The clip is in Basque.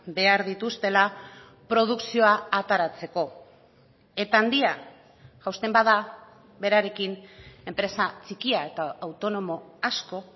behar dituztela produkzioa ateratzeko eta handia jausten bada berarekin enpresa txikia eta autonomo asko